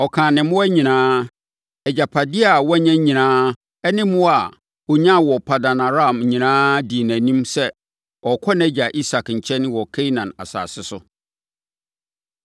Ɔkaa ne mmoa nyinaa, agyapadeɛ a wanya nyinaa ne mmoa a ɔnyaa wɔ Paddan-Aram nyinaa dii nʼanim sɛ, ɔrekɔ nʼagya Isak nkyɛn wɔ Kanaan asase so.